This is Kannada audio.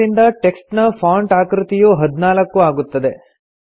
ಇದರಿಂದ ಟೆಕ್ಸ್ಟ್ ನ ಫಾಂಟ್ ಆಕೃತಿಯು 14 ಆಗುತ್ತದೆ